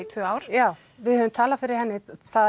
tvö ár já við höfum talað fyrir henni